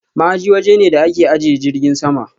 Ma'aji waje ne da ake ajiye jirgin sama.